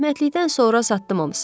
Rəhmətlikdən sonra satdım hamısını.